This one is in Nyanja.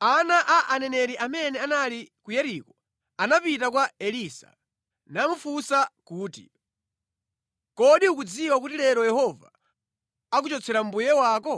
Ana a aneneri amene anali ku Yeriko anapita kwa Elisa, namufunsa kuti, “Kodi ukudziwa kuti lero Yehova akuchotsera mbuye wako?”